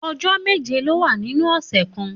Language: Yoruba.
Òjò méjé ló wà ninú òsè kàn